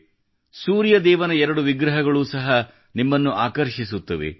ಸೂರ್ಯ ಸೂರ್ಯದೇವನ ಎರಡು ವಿಗ್ರಹಗಳು ಸಹ ನಿಮ್ಮನ್ನು ಆಕರ್ಷಿಸುತ್ತವೆ